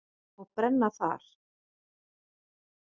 Og brenna þar.